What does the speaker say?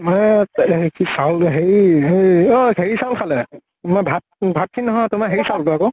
মানে হে কি চাউল হেৰি হে ঐ চাউল খালে, মই ভাত, ভাত খিনি ন্হয়, তোমাৰ হেৰি চাউল তো আকৌ